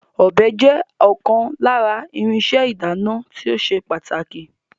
Ọ̀bẹ jẹ́ ọ̀kan lára irinṣẹ́ ìdáná tí ó ṣe pàtàkì